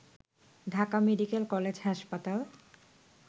Dhaka medical college হাসপাতাল